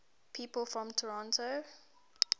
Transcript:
people from toronto